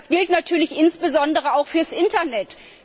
Das gilt natürlich insbesondere auch für das Internet.